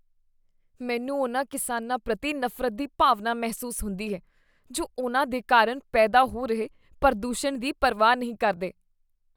ਮੈਨੂੰ ਉਨ੍ਹਾਂ ਕਿਸਾਨਾਂ ਪ੍ਰਤੀ ਨਫ਼ਰਤ ਦੀ ਭਾਵਨਾ ਮਹਿਸੂਸ ਹੁੰਦੀ ਹੈ ਜੋ ਉਨ੍ਹਾਂ ਦੇ ਕਾਰਨ ਪੈਦਾ ਹੋ ਰਹੇ ਪ੍ਰਦੂਸ਼ਣ ਦੀ ਪਰਵਾਹ ਨਹੀਂ ਕਰਦੇ ।